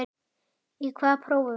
Í hvaða prófi varstu?